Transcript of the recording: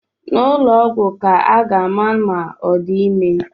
N'ụlọ ọgwụ ka a ga-ama ma ọ di ime